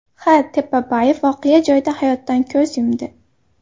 X. Tepabayev voqea joyida hayotdan ko‘z yumdi.